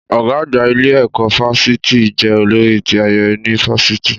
Ọ̀gá àgbà ilé ẹ̀kọ́ fáfitì jẹ́ olórí ti ayẹyẹ ni fáfitì